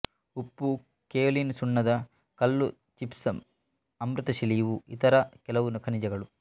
ಉಪ್ಪು ಕೆಯೋಲಿನ್ ಸುಣ್ಣದ ಕಲ್ಲು ಜಿಪ್ಸಮ್ ಅಮೃತಶಿಲೆ ಇವು ಇತರ ಕೆಲವು ಖನಿಜಗಳು